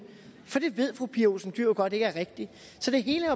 for det ved fru pia olsen dyhr jo godt ikke er rigtigt så det hele